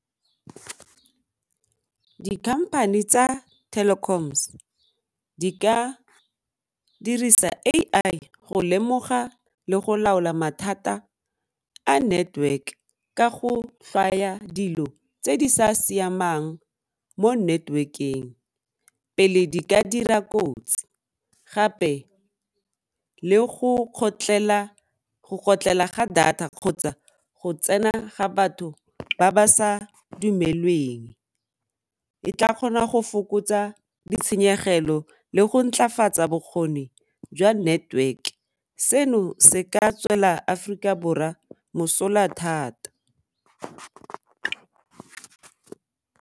Di-company tsa Telkoms di ka dirisa A_I go lemoga le go laola mathata a network ka go dilo tse di sa siamang mo network-eng pele di ka dira kotsi gape le go kgotlhela ga data kgotsa go tsena ga batho ba ba sa dumelweng, e tla kgona go fokotsa ditshenyegelo le go ntlafatsa bokgoni jwa network seno se ka tswela Aforika Borwa mosola thata.